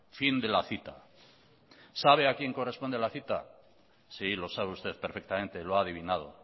fin de la cita sabe a quien corresponde la cita sí lo sabe usted perfectamente lo ha adivinado